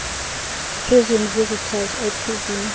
prison visitor ipv